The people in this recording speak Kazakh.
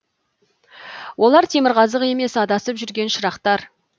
олар темірқазық емес адасып жүрген шырақтар